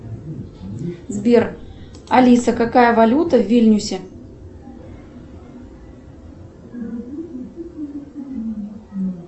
сбер алиса какая валюта в вильнюсе